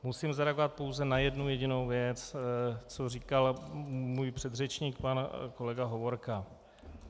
Musím zareagovat pouze na jednu jedinou věc, co říkal můj předřečník pan kolega Hovorka.